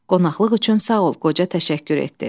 Qonaqlıq üçün sağ ol qoca təşəkkür etdi.